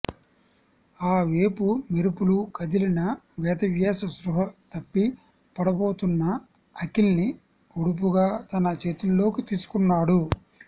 ఆ వేపు మెరుపుల కదిలిన వేదవ్యాస్ స్పృహ తప్పి పడబోతున్న అఖిల్ని ఒడుపుగా తన చేతుల్లోకి తీసుకున్నాడు